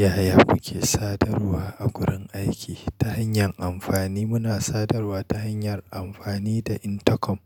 Yaya muke sadarwa a wurin aiki ta hanyar amfani muna sadarwa ta hanyar amfani da intercom,